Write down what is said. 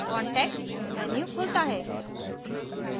context menu खुलता है